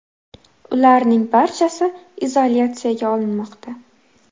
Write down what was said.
Ularning barchasi izolyatsiyaga olinmoqda .